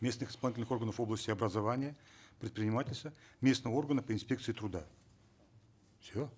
местных исполнительных органов области образования предпринимательства местного органа при инспекции труда все